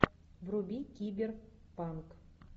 вруби киберпанк